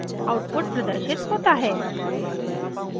output प्रदर्शित होता है